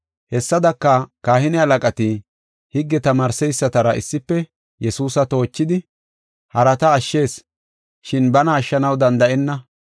Hessadaka, kahine halaqati higge asatamaaretara issife Yesuusa toochidi, “Harata ashshis, shin bana ashshanaw danda7enna;